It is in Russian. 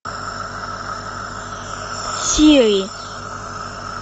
сири